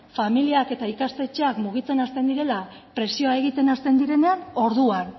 familiak eta ikastetxeak mugitzen hasten direla presioa egiten hasten direnean orduan